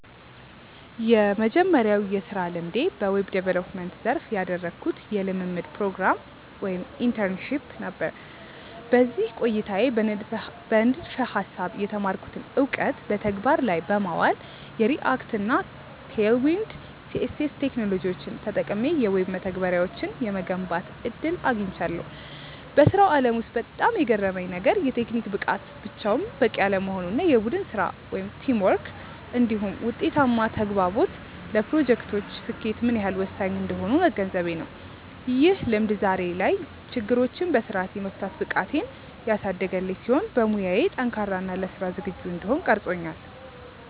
የመጀመሪያው የሥራ ልምዴ በዌብ ዲቨሎፕመንት (Web Development) ዘርፍ ያደረግኩት የልምምድ ፕሮግራም (Internship) ነበር። በዚህ ቆይታዬ በንድፈ-ሐሳብ የተማርኩትን እውቀት በተግባር ላይ በማዋል፣ የReact እና Tailwind CSS ቴክኖሎጂዎችን ተጠቅሜ የዌብ መተግበሪያዎችን የመገንባት ዕድል አግኝቻለሁ። በሥራው ዓለም ውስጥ በጣም የገረመኝ ነገር፣ የቴክኒክ ብቃት ብቻውን በቂ አለመሆኑ እና የቡድን ሥራ (Teamwork) እንዲሁም ውጤታማ ተግባቦት ለፕሮጀክቶች ስኬት ምን ያህል ወሳኝ እንደሆኑ መገንዘቤ ነው። ይህ ልምድ ዛሬ ላይ ችግሮችን በሥርዓት የመፍታት ብቃቴን ያሳደገልኝ ሲሆን፣ በሙያዬ ጠንካራ እና ለሥራ ዝግጁ እንድሆን ቀርጾኛል።